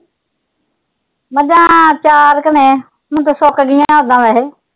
ਮੱਝਾਂ ਚਾਰ ਕ ਨੇ, ਹੁਣ ਤਾਂ ਸੁੱਕ ਗਈਆਂ ਓਦਾਂ ਵੈਸੇ।